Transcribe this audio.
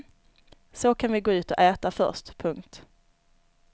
Så kan vi gå ut och äta först. punkt